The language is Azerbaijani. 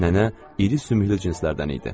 Nənə iri sümüklü cinslərdən idi.